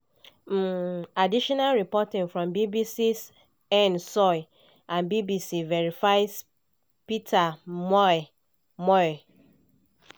um additional reporting from bbc's anne soy and bbc verify's peter mwai. mwai.